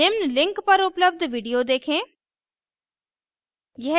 निम्न link पर उपलब्ध video देखें